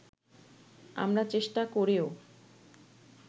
আমরা চেষ্টা করেও